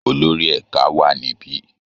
Olórí ẹ̀ka wà níbi